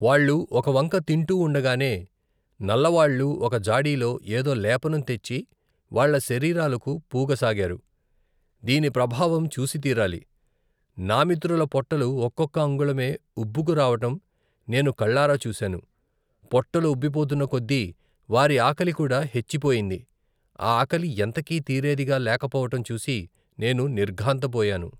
వాళ్ళు ఒకవంక తింటూ ఉండగానే నల్లవాళ్లు ఒకజాడీలో ఏదో లేపనం తెచ్చి వాళ్ల శరీరాలకు పూగసాగారు. దీని ప్రభావం చూసితీరాలి. నామిత్రుల పొట్టలు ఒక్కొక్క అంగుళమే ఉబ్బుకురావటం నేను కళ్ళారా చూశాను. పొట్టలు ఉబ్బిపోతున్న కొద్దీ వారి ఆకలికూడా హెచ్చిపోయింది. ఆ ఆకలి ఎంతకీ తీరేదిగా లేకపోవటం చూసి నేను నిర్ఘాంత పోయాను.